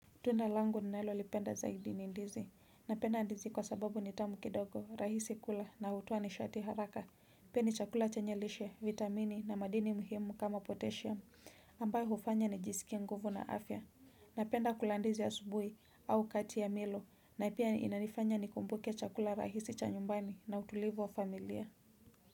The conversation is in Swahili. Tunda langu ninalolipenda zaidi ni ndizi. Napenda ndizi kwa sababu ni tamu kidogo, rahisi kula na hutoa nishati haraka. Pia ni chakula chenye lishe, vitamini na madini muhimu kama potasiamu. Ambayo hufanya nijisikie nguvu na afya. Napenda kula ndizi asubuhi au kati ya milo. Na pia inanifanya nikumbuke chakula rahisi cha nyumbani na utulivu wa familia.